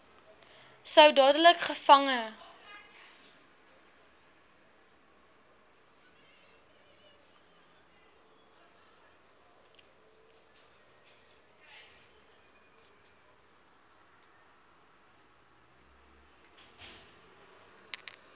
sou dadelik gevange